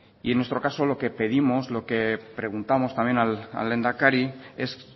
y en nuestro caso lo que pedimos lo que preguntamos también al lehendakari es